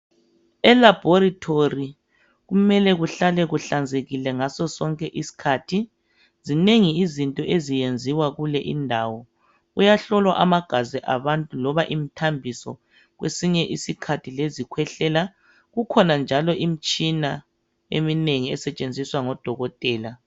Elaboritori kumele kuhlale kuhlanzekile ngaso sonke isikhathi zinengi izinto eziyenziwa kule indawo kuyahlolwa amagazi abantu loba imthambiso kwesinye isikhathi ilezikwehlela kukhona njalo imitshina eminengi esetshenziswa ngodokotela